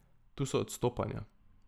Tu so odstopanja.